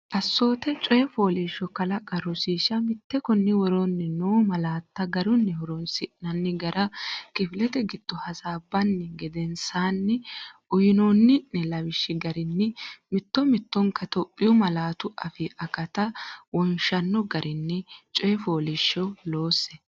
Assoote Coyi fooliishsho kalaqa Rosiishsha Mite Konni woroonni noo malaatta garunni horoonsinanni gara kifilete giddo hasaabbini gedensaaanni uyinoonni’ne lawishshi garinni mitto mittonka Itophiyu malaatu afii akata wonshanno garini coyi fooliishsho loose.